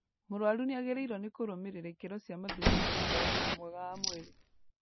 Mũrwaru nĩagĩrĩirwo nĩ kũrũmĩrĩra ikĩro cia mathugumo nĩũndu wa ũgima mwega wa mwĩrĩ